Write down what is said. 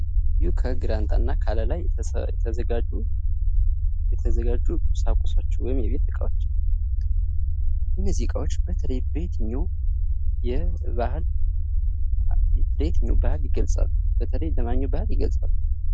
ይኽ ከግራንጣ እና ከአለላ የተዘጋጁ የተዘጋጁ ቁሳቁሶች ወይም የቤት እቃዎች እነዚህ እቃዎች በተለይ በየትኛው የባህል በየትኛው ባህል ይገለፃሉ? በተለይ በማንኛው ባህል ይገለፃሉ?